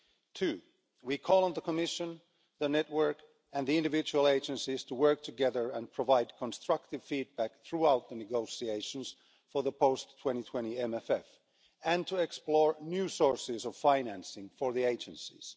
Two, we call on the Commission, the network and the individual agencies to work together and provide constructive feedback throughout the negotiations for the post-2020 MFF, and to explore new sources of financing for the agencies.